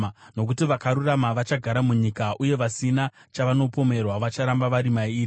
Nokuti vakarurama vachagara munyika, uye vasina chavanopomerwa vacharamba vari mairi;